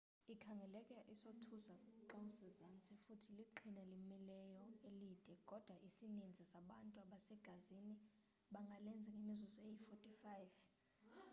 ikhangeleka isothusa xawusezantsi futhi liqhina elimileyo elide kodwa isininzi sabantu abasegazini bangalenza ngemizuzu eyi-45